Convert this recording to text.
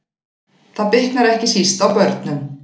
Það bitnar ekki síst á börnum